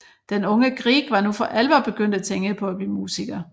Den unge Grieg var nu for alvor begyndt at tænke på at blive musiker